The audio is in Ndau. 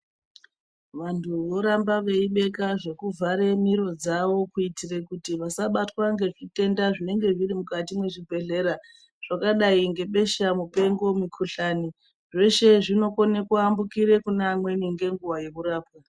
Vantu voramba veibeka zvekuvhara miro dzawo kuitira kuti vasabatwa ngechitenda zvinenge zviri mukati mwechibhedhlera zvakadai ngebhesha mupengo mukhuhlani. Zveshe zvinokona kuyambukira kuneamweni ngenguwa yekurapwa.